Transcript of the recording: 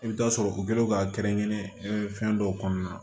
I bɛ taa sɔrɔ u kɛlen do ka kɛrɛnkɛrɛn fɛn dɔw kɔnɔna na